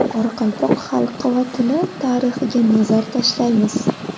Qoraqalpoq xalqi va tili tarixiga nazar tashlaymiz.